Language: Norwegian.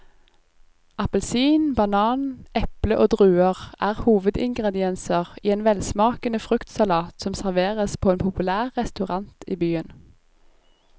Appelsin, banan, eple og druer er hovedingredienser i en velsmakende fruktsalat som serveres på en populær restaurant i byen.